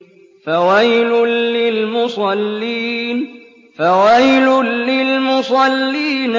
فَوَيْلٌ لِّلْمُصَلِّينَ